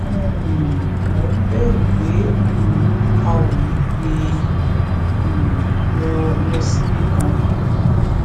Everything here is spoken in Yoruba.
um mò ń bẹ̀rù pé um a ò ní gbé e um lọ lọ síbi kan